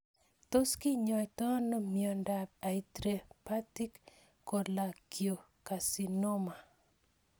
Tos kinyoitoi ano miondop intrahepatic cholangiocarcinoma